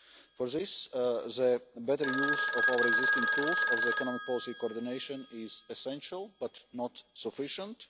For this, the better use of our existing tools of economic policy coordination is essential, but not sufficient.